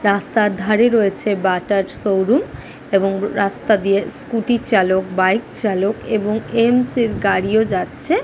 রাস্তার ধরে রয়েছে বাটার শোরুম এবং রাস্তা দিয়ে স্কুটি চালক বাইক চালাক এবং এইমস এর গাড়িও যাচ্ছে।